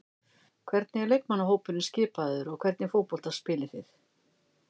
Hvernig er leikmannahópurinn skipaður og hvernig fótbolta spilið þið?